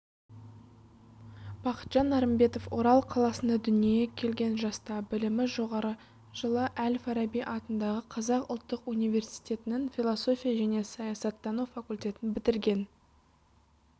бақытжан нарымбетов орал қаласында дүниеге келген жаста білімі жоғары жылы әл-фараби атындағы қазақ ұлттық университетінің философия және саясаттану факультетін бітірген